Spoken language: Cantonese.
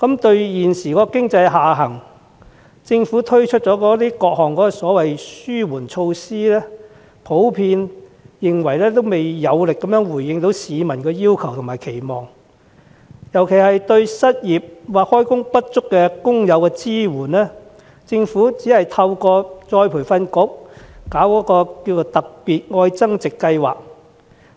對於政府就經濟下行推出的各項紓緩措施，大眾普遍認為未能有力回應市民的要求和期望，對失業或就業不足的工友的支援尤其不足，只透過僱員再培訓局舉辦的"特別.愛增值"計劃提供協助。